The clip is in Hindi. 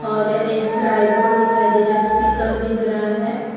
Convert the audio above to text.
और एक ट्राइपॉड दिखाई दे रहा है स्पीकर दिख रहा है।